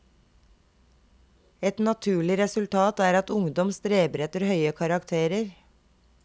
Et naturlig resultat er at ungdom streber etter høye karakterer.